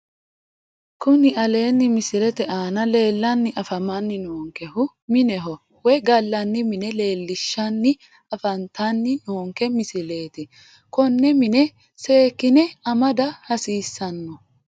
Kuni aleenni misilete aana leellanni afamanni noonkehu mineho woyi gallanni mine leellishshanni afantanni noonke misilleeti konne mine seekkine amada hasiissanno